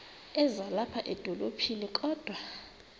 ezilapha edolophini kodwa